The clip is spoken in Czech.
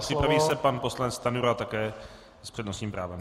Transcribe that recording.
Připraví se pan poslanec Stanjura, také s přednostním právem.